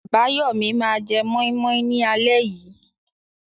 Abayomi máa jẹ moi moi ní alẹ́ yìí.